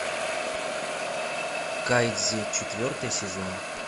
кайдзи четвертый сезон